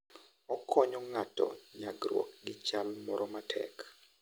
Okonyo ng'ato nyagruok gi chal moro matek.